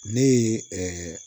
Ne ye